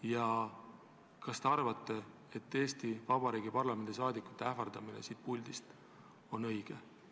Ja kas te arvate, et Eesti Vabariigi parlamendi liikmete ähvardamine siit puldist on õige?